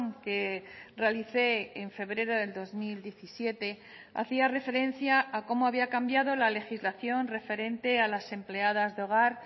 que realicé en febrero del dos mil diecisiete hacía referencia a cómo había cambiado la legislación referente a las empleadas de hogar